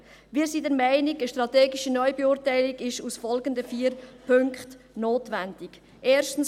– Wir sind der Meinung, dass eine strategische Neubeurteilung aufgrund der folgenden vier Punkten notwendig ist: